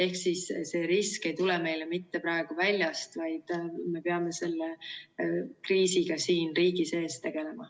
Ehk siis see risk ei tule meile mitte praegu väljast, vaid me peame selle kriisiga siin riigi sees tegelema.